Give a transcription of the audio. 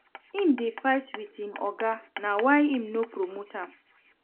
Im dey fight wit im oga, na why im no promote am.